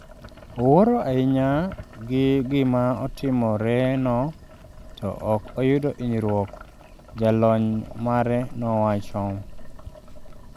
"""Owuoro ahinya gi gima otimorenioh to ok oyudo hinyruok," jalony mare nowacho.